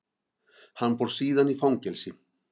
Hann fór síðan í fangelsi.